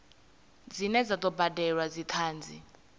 dzine dza do badelwa dzithanzi